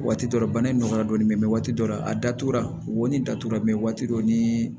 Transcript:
Waati dɔ la bana in nɔgɔyara dɔɔni waati dɔ la a datugura wonin datugura mɛ waati dɔ ni